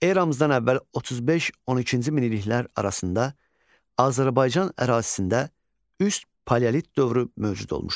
Eramızdan əvvəl 35-12-ci minilliklər arasında Azərbaycan ərazisində üst paleolit dövrü mövcud olmuşdur.